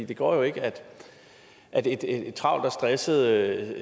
det går jo ikke at et travlt og stresset